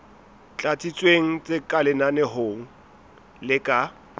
tlatsitsweng tse lenaneong le ka